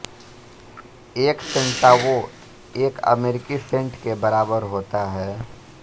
एक सेंटावो एक अमेरिकी सेंट के बराबर होता है